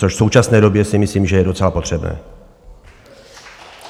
Což v současné době si myslím, že je docela potřebné.